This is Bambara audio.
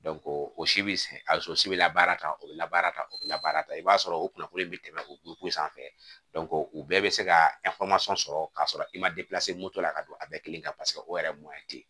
o si bɛ a so bɛ labaara tan o bɛ labaara ta o bɛ labaara i b'a sɔrɔ o kunnafoni in bɛ tɛmɛ o sanfɛ u bɛɛ bɛ se ka sɔrɔ ka sɔrɔ i ma la ka don a bɛɛ kelen kan paseke o yɛrɛ m'a ye ten